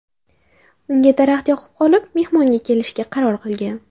Unga daraxt yoqib qolib, mehmonga kelishga qaror qilgan.